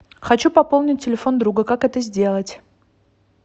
хочу пополнить телефон друга как это сделать